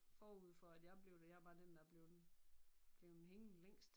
Forud for at jeg blev det jeg er bare den der er bleven bleven hængende længst